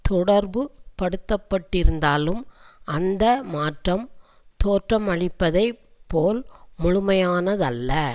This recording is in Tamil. தொடர்புபடுத்தப்பட்டிருந்தாலும் அந்த மாற்றம் தோற்றமளிப்பதைப்போல் முழுமையானதல்ல